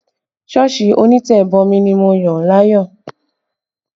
Sọ́ọ̀sì onítẹ̀bomi ni mo yàn láàyò